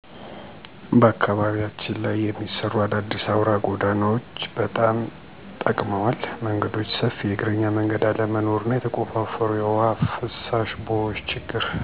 በአካባቢያችን ላይ የሚሰሩ አዳዲስ አውራ ጎዳናዎች ጎዳናዎች በጣም ጠቅመዋል። መንገዶች ሰፊ የእግረኛ መንገድ አለመኖሩ እና የተቆፋፈሩ የውሃ ማፋሰሻ ቦዮች ችግር